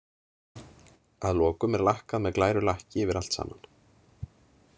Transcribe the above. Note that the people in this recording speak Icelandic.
Að lokum er lakkað með glæru lakki yfir allt saman.